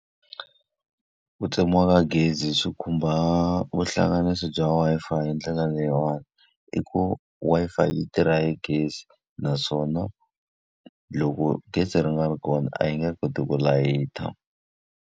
Ku tsemiwa ka gezi swi khumba vuhlanganisi bya Wi-Fi hi ndlela leyiwani, i ku Wi-Fi yi tirha hi gezi naswona loko gezi ri nga ri kona a yi nge koti ku layita.